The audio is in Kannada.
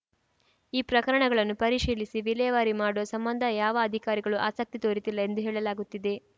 ಈ ಪ್ರಕರಣಗಳನ್ನು ಪರಿಶೀಲಿಸಿ ವಿಲೇವಾರಿ ಮಾಡುವ ಸಂಬಂಧ ಯಾವ ಅಧಿಕಾರಿಗಳೂ ಆಸಕ್ತಿ ತೋರುತ್ತಿಲ್ಲ ಎಂದು ಹೇಳಲಾಗುತ್ತಿದೆ